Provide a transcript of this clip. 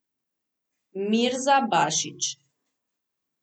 Mirza Bašić.